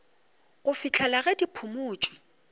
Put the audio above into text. go fihlela ge di phumotšwe